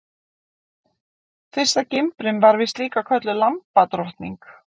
Fyrsta gimbrin var víst líka kölluð lambadrottning.